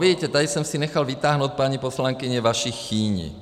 Vidíte, tady jsem si nechal vytáhnout, paní poslankyně, vaši Chýni.